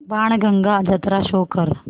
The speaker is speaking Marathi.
बाणगंगा जत्रा शो कर